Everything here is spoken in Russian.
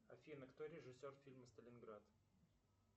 афина кто режиссер фильма сталинград